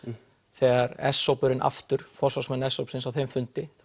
þegar s hópurinn aftur forsvarsmenn s hópsins á þeim fundi